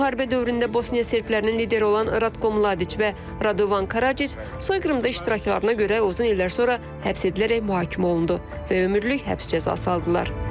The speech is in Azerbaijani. Müharibə dövründə Bosniya serblərinin lideri olan Ratko Mladiç və Radovan Karaciç soyqırımda iştiraklarına görə uzun illər sonra həbs edilərək mühakimə olundu və ömürlük həbs cəzası aldılar.